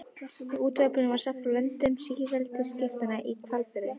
Í útvarpinu var sagt frá löndun síldveiðiskipanna í Hvalfirði.